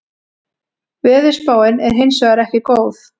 Veðurspáin er hins vegar ekki góð